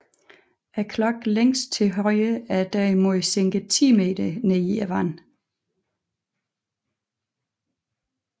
Klokken længst til højre er derimod sænket 10 meter ned i vandet